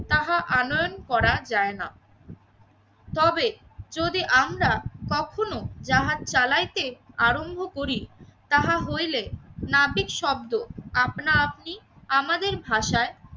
তাহা আনয়ন করা যায় না। তবে যদি আমরা কখনো জাহাজ চালাইতে আরম্ভ করি তাহা হইলে নাবিক শব্দ আপনা আপনি আমাদের ভাষায়